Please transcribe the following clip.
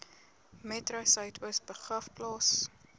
metro suidoos begraafplaas